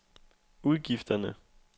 udgifterne